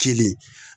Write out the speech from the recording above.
Kili